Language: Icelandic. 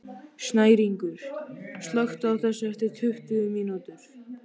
Snæringur, slökktu á þessu eftir tuttugu mínútur.